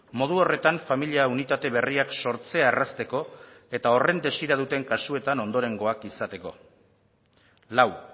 modu horretan familia unitate berriak sortzea errazteko eta horren desira duten kasuetan ondorengoak izateko lau